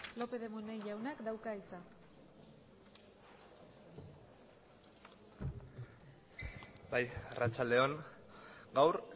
lópez de munain jaunak dauka hitza bai arratsalde on gaur